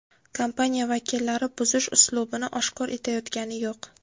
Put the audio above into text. Kompaniya vakillari buzish uslubini oshkor etayotgani yo‘q.